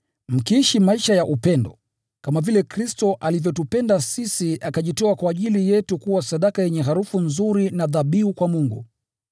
mkiishi maisha ya upendo, kama vile Kristo alivyotupenda sisi akajitoa kwa ajili yetu kuwa sadaka yenye harufu nzuri na dhabihu kwa Mungu.